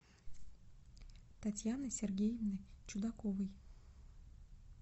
татьяны сергеевны чудаковой